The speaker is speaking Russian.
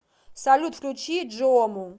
салют включи джиому